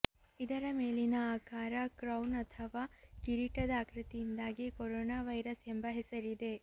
ಇದರ ಮೇಲಿನ ಆಕಾರ ಕ್ರೌನ್ ಅಥವಾ ಕಿರೀಟದ ಆಕೃತಿಯಿಂದಾಗಿ ಕೊರೊನಾ ವೈರಸ್ ಎಂಬ ಹೆಸರಿದೆ